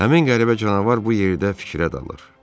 Həmin qəribə canavar bu yerdə fikrə dalır.